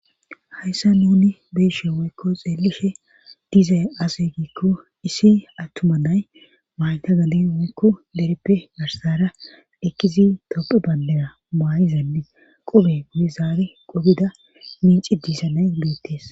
Hayssa nuni be'eshe woykko xeelishe dizay ase giikko issi attumannay maayta gadi woykko dereppe garsara ekkizi dopu bandera maa7izandi qobe gude zaare qobida minci diisanay beettees.